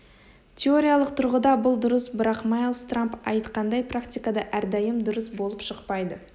теориялық тұрғыда бұл дұрыс бірақ майлс трамп айтқандай практикада әрдайым дұрыс болып шықпайды